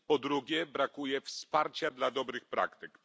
Po drugie, brakuje wsparcia dla dobrych praktyk.